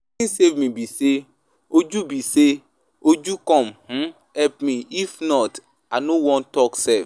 Wetin save me be say Uju be say Uju come um help me if not, I no wan talk sef